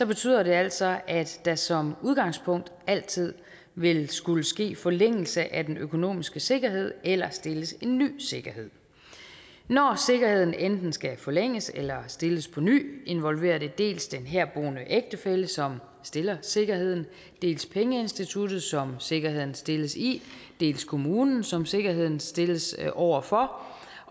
betyder det altså at der som udgangspunkt altid vil skulle ske forlængelse af den økonomiske sikkerhed eller stilles en ny sikkerhed når sikkerheden enten skal forlænges eller stilles på ny involverer det dels den herboende ægtefælle som stiller sikkerheden dels pengeinstituttet som sikkerheden stilles i dels kommunen som sikkerheden stilles over for